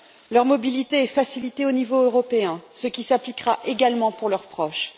Leur mobilité est facilitée au niveau européen, ce qui s'appliquera également à leurs proches.